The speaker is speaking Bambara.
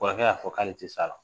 Kɔrɔkɛ y'a fɔ k'ale tɛ se a la